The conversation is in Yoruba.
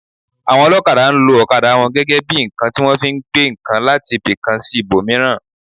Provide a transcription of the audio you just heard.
Àwọn olokada, nlo okada wọn gẹ́gẹ́ bí ǹkan tí wọ́n fi ń gbé ǹkan láti ibi kan sí ibò míràn